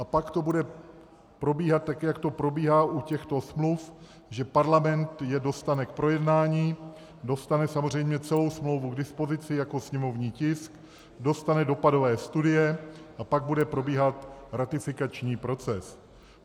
A pak to bude probíhat tak, jak to probíhá u těchto smluv, že Parlament je dostane k projednání, dostane samozřejmě celou smlouvu k dispozici jako sněmovní tisk, dostane dopadové studie, a pak bude probíhat ratifikační proces.